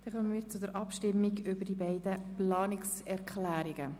Dann kommen wir zu den Abstimmungen über die beiden Planungserklärungen.